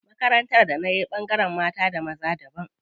Makarantar da nayi ɓangaren mata da maza daban.